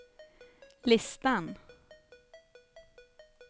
listan